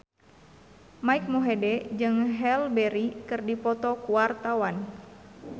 Mike Mohede jeung Halle Berry keur dipoto ku wartawan